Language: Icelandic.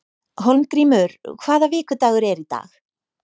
Hólmgrímur, hvaða vikudagur er í dag?